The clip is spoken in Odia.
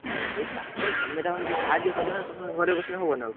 ହାଁ, ସିଏ ଚାଷ କଲେ ତମେ ତଂକୁ ଟିକେ ସାହାଯ୍ୟ କରିବନା, ତମେ ଘରେ ବସିନେ ହବ ନା ଆଉ।